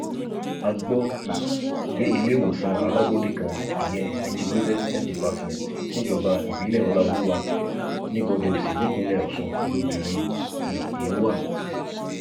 a gbọ um pé iléèwòsàn alábọọdẹ kan ìyẹn integrated health department níjọba ìbílẹ ọláoluwa ni bodèòsì nípínlẹ ọsùn lobìnrin um yìí wà